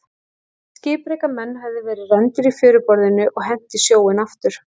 Skipreika menn höfðu verið rændir í fjöruborðinu og hent í sjóinn aftur.